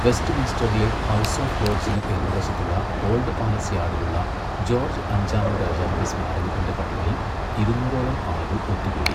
വെസ്റ്റ്മിൻസ്റ്ററിലെ house of ലോർഡ്സിന് എതിർവശത്തുള്ള old palace യാർഡിലുള്ള ജോർജ്ജ് അഞ്ചാമൻ രാജാവിന്റെ സ്മാരകത്തിന്റെ പടികളിൽ ഇരുന്നൂറോളം ആളുകൾ ഒത്തുകൂടി.